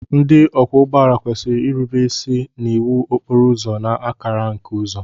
Ndị ọkwọ ụgbọala kwesịrị irube isi n'iwu okporo ụzọ na akara nke uzo.